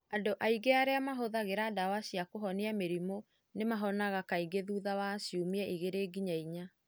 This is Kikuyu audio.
Andũ aingĩ arĩa mahũthagĩra ndawa cia kũhonia mĩrimũ nĩ mahonaga kaingĩ thutha wa ciumia igĩrĩ nginya inya.